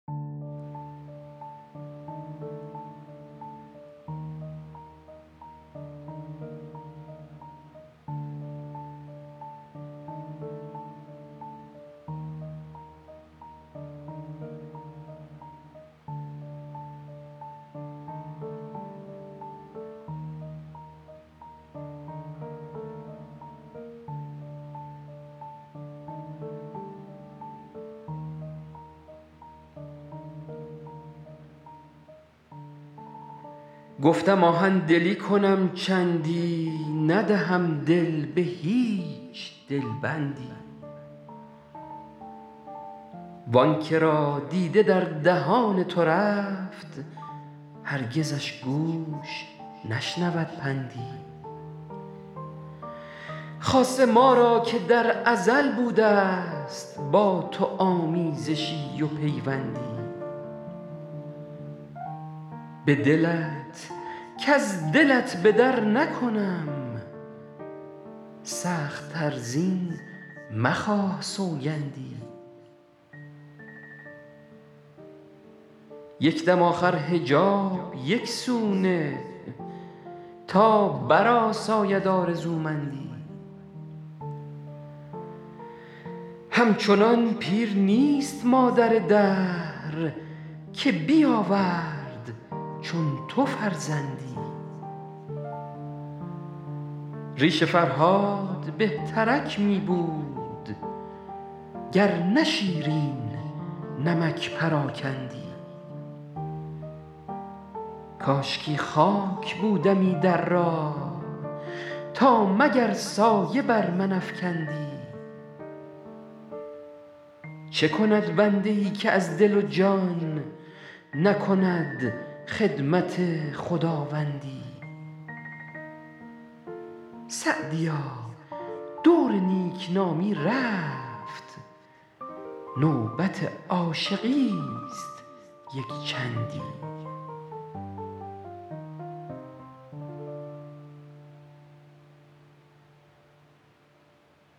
گفتم آهن دلی کنم چندی ندهم دل به هیچ دل بندی وآن که را دیده در دهان تو رفت هرگزش گوش نشنود پندی خاصه ما را که در ازل بوده است با تو آمیزشی و پیوندی به دلت کز دلت به در نکنم سخت تر زین مخواه سوگندی یک دم آخر حجاب یک سو نه تا برآساید آرزومندی همچنان پیر نیست مادر دهر که بیاورد چون تو فرزندی ریش فرهاد بهترک می بود گر نه شیرین نمک پراکندی کاشکی خاک بودمی در راه تا مگر سایه بر من افکندی چه کند بنده ای که از دل و جان نکند خدمت خداوندی سعدیا دور نیک نامی رفت نوبت عاشقی است یک چندی